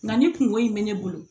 Nka nin kungo in bɛ ne bolo